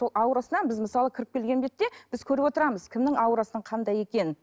сол аурасынан біз мысалы кіріп келген бетте біз көріп отырамыз кімнің аурасының қандай екенін